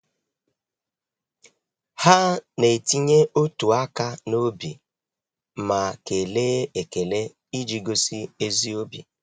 Ha na-etinye otu áká n'obi ma kelee ekele iji gosi ezi obi.